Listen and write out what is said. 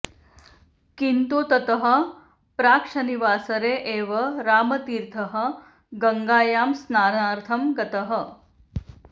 किन्तु ततः प्राक् शनिवासरे एव रामतीर्थः गङ्गायां स्नानार्थं गतः